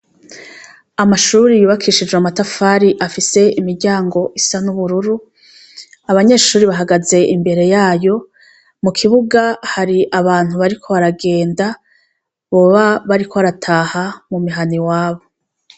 Amashure yubakishije amatafari afise imiryango isa n'ubururu, abanyeshure bahagaze imbere yayo, mu kibuga hari abantu bariko baragenda, boba bariko barataha mu mihana iwabo.